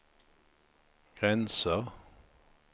gränser